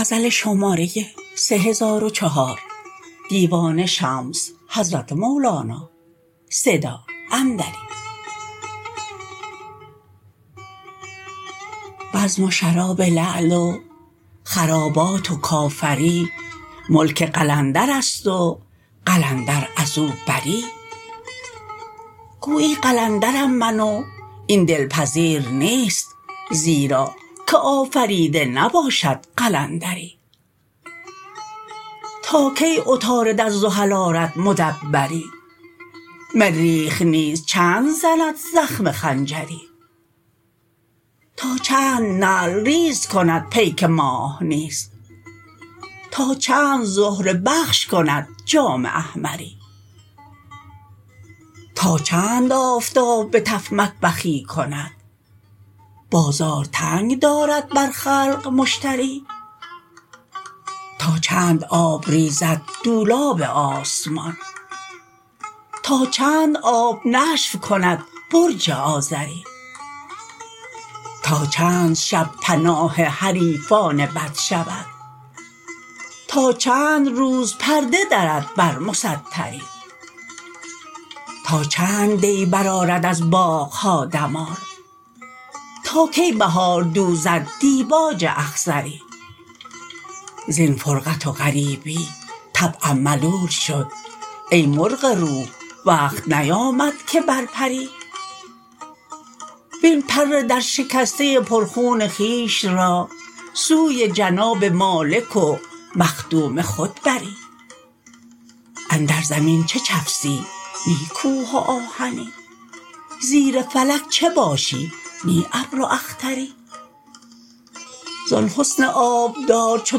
بزم و شراب لعل و خرابات و کافری ملک قلندرست و قلندر از او بری گویی قلندرم من و این دلپذیر نیست زیرا که آفریده نباشد قلندری تا کی عطارد از زحل آرد مدبری مریخ نیز چند زند زخم خنجری تا چند نعل ریز کند پیک ماه نیز تا چند زهره بخش کند جام احمری تا چند آفتاب به تف مطبخی کند بازار تنگ دارد برخلق مشتری تا چند آب ریزد دولاب آسمان تا چند آب نشف کند برج آذری تا چند شب پناه حریفان بد شود تا چند روز پرده درد بر مستری تا چند دی برآرد از باغ ها دمار تا کی بهار دوزد دیباج اخضری زین فرقت و غریبی طبعم ملول شد ای مرغ روح وقت نیامد که بر پری وین پر درشکسته پرخون خویش را سوی جناب مالک و مخدوم خود بری اندر زمین چه چفسی نی کوه و آهنی زیر فلک چه باشی نی ابر و اختری زان حسن آبدار چو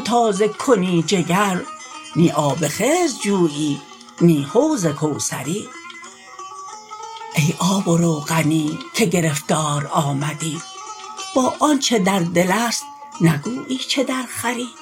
تازه کنی جگر نی آب خضر جویی نی حوض کوثری ای آب و روغنی که گرفتار آمدی با آنچ در دل است نگویی چه درخوری